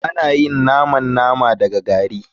Ana yin naman nama daga gari.